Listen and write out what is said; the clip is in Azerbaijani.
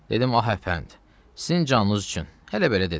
Dedim hə əfənd, sizin canınız üçün, elə belə dedim.